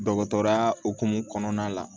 Dɔgɔtɔrɔya hukumu kɔnɔna la